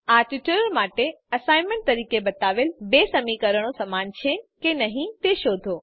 આ ટ્યુટોરીયલ માટે એસાઈનમેન્ટ તરીકે બતાવેલ બે સમીકરણો સમાન છે કે નહી તે શોધો